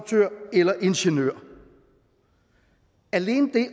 eller ingeniør alene det